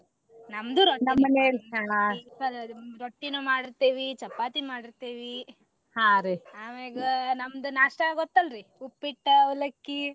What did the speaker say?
ನಮ್ದು ರೊಟ್ಟಿನು ಮಾಡಿರ್ತೇವಿ ಚಪಾತಿ ಮಾಡಿರ್ತೇವಿ ಆಮ್ಯಾಗ ನಮ್ದ नाश्ता ಗೊತ್ತ ಅಲ್ರಿ ಉಪ್ಪಿಟ್ಟ ಅವಲಕ್ಕಿ.